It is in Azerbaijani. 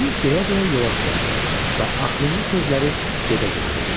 Bunu deyə-deyə yola düzəldi və axırıncı sözləri gedə-gedə dedi.